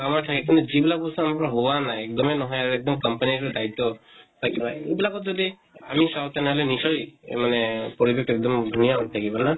আমাৰ ঠাইখিনিত, যিবিলাক বস্তু আমৰা হোৱা নাই, একদমেই নহয়, একদম company দায়িত্ব বা কিবা। এইবিলাকত যদি আমি চাওঁ তেনেহʼলে নিশ্চয় মানে পৰিৱেশ তো একদম ধুনীয়া হৈ থাকিব, না?